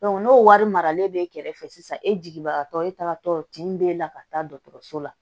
n'o wari maralen b'e kɛrɛfɛ sisan e jigibagatɔ e taratɔ kin bɛ la ka taa dɔgɔtɔrɔso la